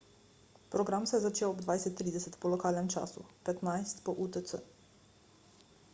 program se je začel ob 20.30 po lokalnem času 15.00 po utc